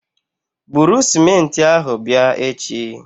Buru sịmentị ahụ bịa echi!